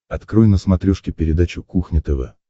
открой на смотрешке передачу кухня тв